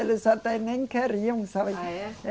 Eles até nem queriam, sabe? Ah, é? É